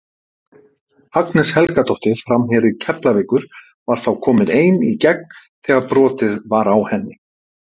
Agnes Helgadóttir framherji Keflavíkur var þá komin ein í gegn þegar brotið var á henni.